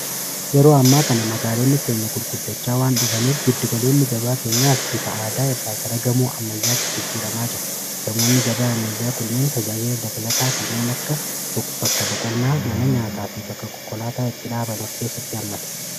yeroo ammaa kana magaaloonni keenya gurguddachaa waan dhufaniif giddigaloonni gabaa keenyaas bifa aadaa irraa gara gamoo ammayyaatti jijjiiramaa jiru gamoonni gabaa ammayyaa kunneen tajaajila dabalataa kanneen akka bakka boqonnaa mana nyaataa fi bakka kokkolaataa itti dhaaban of keessatti hammatu